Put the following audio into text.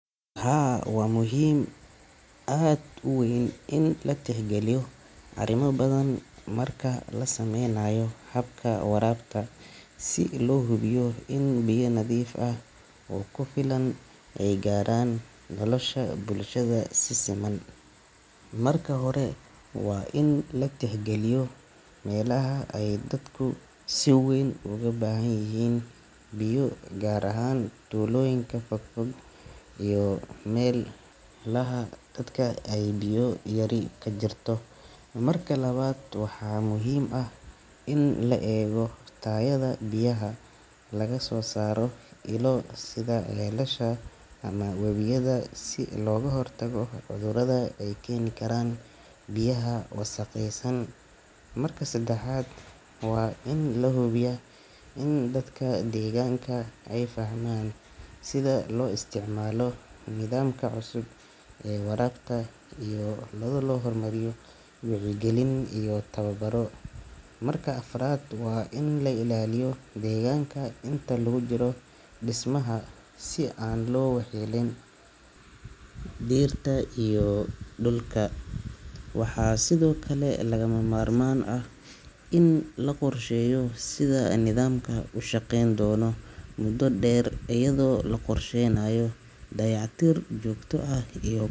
Haa, waa muhiim aad u weyn in la tixgeliyo arrimo badan marka la sameynayo habka warabta, si loo hubiyo in biyo nadiif ah oo ku filan ay gaaraan bulshada si siman. Marka hore, waa in la tixgaliyo meelaha ay dadku si weyn ugu baahan yihiin biyo, gaar ahaan tuulooyinka fog fog iyo meelaha ay biyo yari ka jirto. Marka labaad, waxaa muhiim ah in la eego tayada biyaha laga soo saaro ilo sida ceelasha ama webiyada si looga hortago cudurrada ay keeni karaan biyaha wasakhaysan. Marka saddexaad, waa in la hubiyaa in dadka deegaanka ay fahmaan sida loo isticmaalo nidaamka cusub ee warabta, iyada oo loo marayo wacyigelin iyo tababarro. Marka afraad, waa in la ilaaliyo deegaanka inta lagu jiro dhismaha, si aan loo waxyeelayn dhirta iyo dhulka. Waxaa sidoo kale lagama maarmaan ah in la qorsheeyo sida nidaamku u shaqeyn doono muddo dheer, iyadoo la qorsheynayo dayactir joogto ah iyo.